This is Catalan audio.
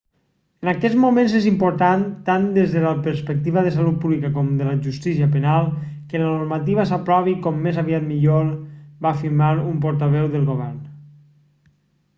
en aquests moments és important tant des de la perspectiva de la salut pública com de la justícia penal que la normativa s'aprovi com més aviat millor va afirmar un portaveu del govern